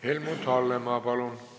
Helmut Hallemaa, palun!